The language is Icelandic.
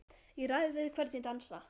Ég ræð við hvern ég dansa,